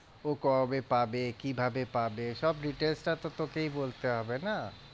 ও কবে পাবে কিভাবে পাবে? সব details টা তো তোকেই বলতে হবে না।